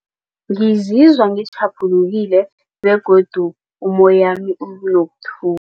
Ngizizwa ngitjhaphulukile begodu ummoyami